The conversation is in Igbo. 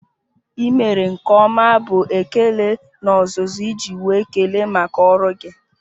I mere nke ọma bụ ekele n'ozuzu iji nwee ekele maka ọrụ gị